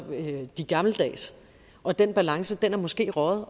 de gammeldags og den balance er måske røget